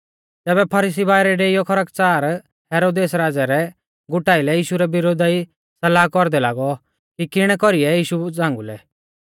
तैबै फरीसी बाइरै डेइयौ खरकच़ार हेरोदेस राज़ै रै गुटा आइलै यीशु रै विरोधा ई सलाह कौरदै लागौ कि किणै कौरीऐ यीशु झ़ांगुलै